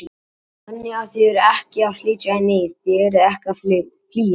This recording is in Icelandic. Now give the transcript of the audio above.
Þannig að þið eruð ekki að flytja í neyð, þið eruð ekki að flýja?